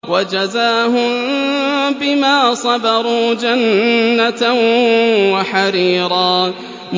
وَجَزَاهُم بِمَا صَبَرُوا جَنَّةً وَحَرِيرًا